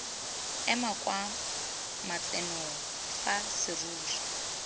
eme kwa matsenong fa serori